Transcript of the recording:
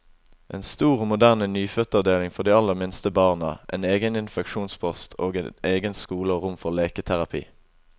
En stor og moderne nyfødtavdeling for de aller minste barna, en egen infeksjonspost, og egen skole og rom for leketerapi.